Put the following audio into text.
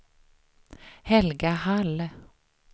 Helga Hall